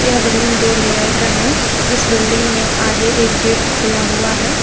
यह बिल्डिंग दो लेयर का है इस बिल्डिंग में आगे एक गेट खुला हुआ है।